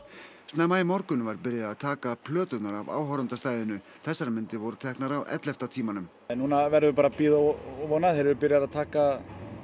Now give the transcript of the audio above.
snemma í morgun var byrjað að taka plöturnar af þessar myndir voru teknar á ellefta tímanum núna verðum við bara að bíða og vona þeir eru byrjaðir að taka